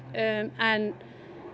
en